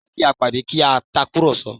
Jẹ́ kí a pàdé kí a tàkùrọ̀sọ